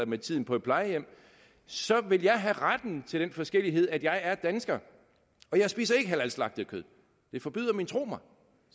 med tiden på et plejehjem så vil jeg have retten til den forskellighed at jeg er dansker og jeg spiser ikke halalslagtet kød det forbyder min tro mig